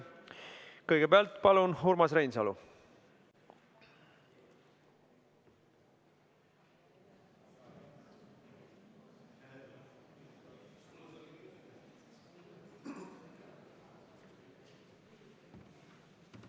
Kõigepealt, palun, Urmas Reinsalu!